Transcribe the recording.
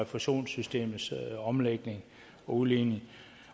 fusionssystemets omlægning og udligning